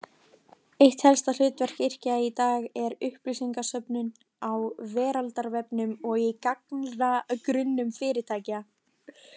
Eitt helsta hlutverk yrkja í dag er upplýsingasöfnun á veraldarvefnum og í gagnagrunnum fyrirtækja.